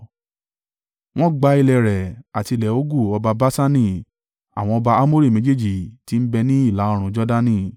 Wọ́n gba ilẹ̀ rẹ̀, àti ilẹ̀ Ogu ọba Baṣani àwọn ọba Amori méjèèjì tí ń bẹ ní ìlà-oòrùn Jordani.